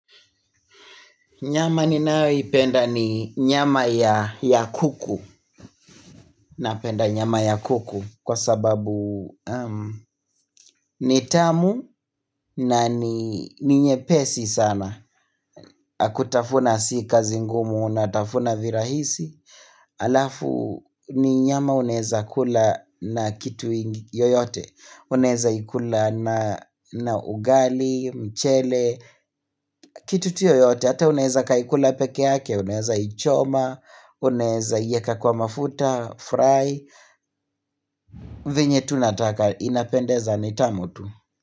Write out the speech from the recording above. Nyama ninayoipenda ni nyama ya ya kuku. Napenda nyama ya kuku kwa sababu ni tamu na ni nyepesi sana. Kutafuna si kazi ngumu, natafuna virahisi. Alafu ni nyama unaweza kula na kitu yoyote. Unaweza ikula na ugali, mchele, kitu tu yoyote. Hata unaweza kaikula pekee yake, unaweza ichoma, unaweza iweka kwa mafuta fry venye tu nataka inapendeza ni tamu tu.